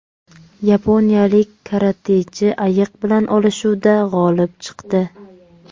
Yaponiyalik karatechi ayiq bilan olishuvda g‘olib chiqdi.